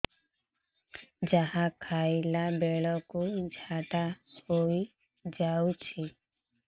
ଯାହା ଖାଇଲା ବେଳକୁ ଝାଡ଼ା ହୋଇ ଯାଉଛି